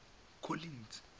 collins